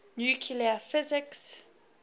nuclear physics